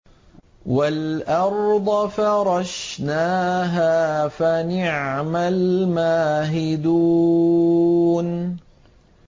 وَالْأَرْضَ فَرَشْنَاهَا فَنِعْمَ الْمَاهِدُونَ